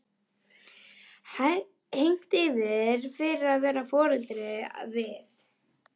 Hegnt fyrir að vara foreldra við